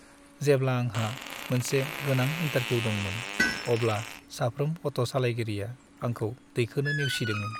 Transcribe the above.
जेब्ला आंहा मोनसे गोनां इन्टारभिउ दंमोन, अब्ला साफ्रोम अट' सालायगिरिया आंखौ दैखोनो नेवसिदोंमोन।